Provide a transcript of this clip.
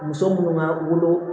Muso munnu ma wolo